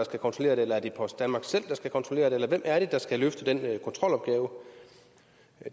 skal kontrollere det eller er det post danmark selv der skal kontrollere det eller hvem er det der skal løfte den kontrolopgave